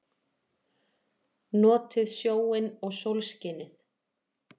Notið sjóinn og sólskinið!